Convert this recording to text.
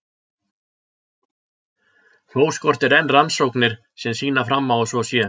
Þó skortir enn rannsóknir sem sýna fram á að svo sé.